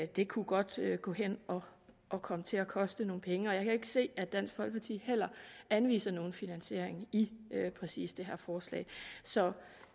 det kunne godt gå hen at komme til at koste nogle penge og jeg kan ikke se at dansk folkeparti anviser nogen finansiering i præcis det her forslag så